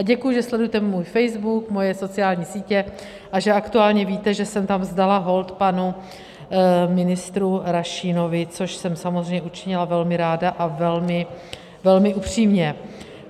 A děkuji, že sledujete můj Facebook, moje sociální sítě a že aktuálně víte, že jsem tam vzdala hold panu ministru Rašínovi, což jsem samozřejmě učinila velmi ráda a velmi upřímně.